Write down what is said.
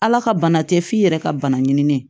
Ala ka bana tɛ f'i yɛrɛ ka bana ɲinini ye